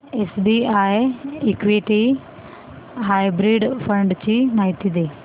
SBI equity hybrid fund ची माहिती दे